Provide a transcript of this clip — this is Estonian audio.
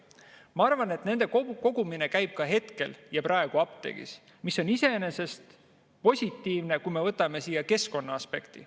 Ma arvan, et nende kogumine käib ka praegu apteegis, mis on iseenesest positiivne, kui me vaatame keskkonnaaspekti.